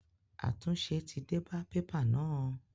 Àtúnṣe ti dé bá pépà náà?